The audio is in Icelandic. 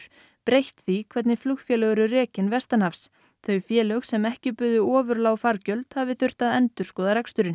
breytt því hvernig flugfélög eru rekin vestanhafs þau félög sem ekki buðu ofur lág fargjöld hafi þurft að endurskoða reksturinn